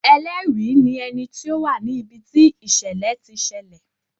Ẹlẹ́rìí ní ẹni tí ó wà ní ibi tí ìṣẹ̀lẹ̀ ti ṣẹlẹ̀.